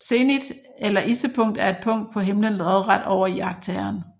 Zenit eller issepunkt er et punkt på himlen lodret over iagttageren